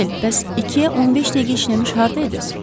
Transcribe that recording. Mişel, bəs 2-yə 15 dəqiqə işləmiş hardaydız?